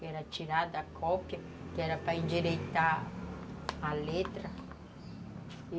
Que era tirar da cópia, que era para endireitar a letra.